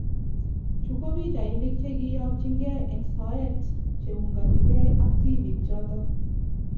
Chuu ko pichainik chekiyokchingei eng soet cheunganigei ak tipik choto